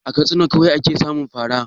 A Katsina kawai ake samun fa ra?